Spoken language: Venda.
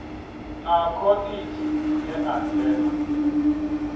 na khoḽidzhi ye a dzhena